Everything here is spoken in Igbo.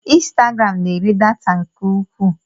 Insitagaram n'eri data nke ukwuu.